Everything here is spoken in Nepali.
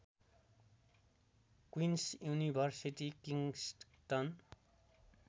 queens University Kingston